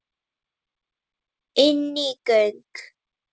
Inní göng.